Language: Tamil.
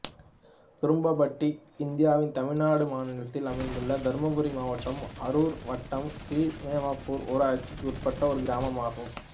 குரும்பபட்டி இந்தியாவின் தமிழ்நாடு மாநிலத்தில் அமைந்துள்ள தர்மபுரி மாவட்டம் அரூர் வட்டம் கீழ்மொரப்பூர் ஊராட்சிக்கு உட்பட்ட ஒரு கிராமம் ஆகும்